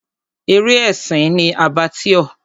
Eré ẹ̀sìn ni Abattoir.